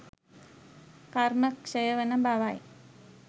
කර්ම ක්ෂය වන බවයි.